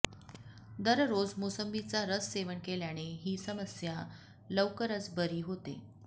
दररोज मोसंबीचा रस सेवन केल्याने ही समस्या लवकरच बरी होते